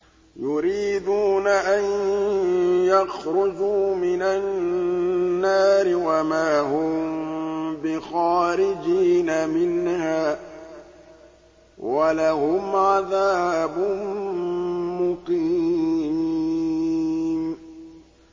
يُرِيدُونَ أَن يَخْرُجُوا مِنَ النَّارِ وَمَا هُم بِخَارِجِينَ مِنْهَا ۖ وَلَهُمْ عَذَابٌ مُّقِيمٌ